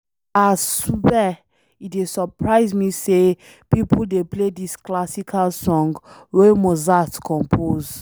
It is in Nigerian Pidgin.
Ah swear, e dey surprise me sey people dey play dis classical songs wey Mozart compose.